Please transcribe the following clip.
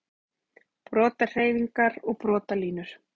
Brotahreyfingar og brotalínur